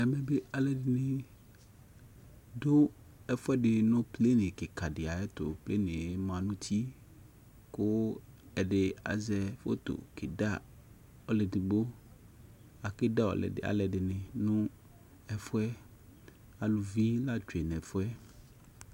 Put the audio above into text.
ɛmɛ bi alʋɛdini dʋ ɛƒʋɛdi nʋplane kikaa diayɛtʋ, planeɛ manʋ ʋti kʋ ɛdi aza phɔtɔ kɛda ɔlʋɛ ɛdigbɔ, akɛ da alʋɛdini nʋ ɛƒʋɛ, alʋvi la twɛ nʋ ɛƒʋɛ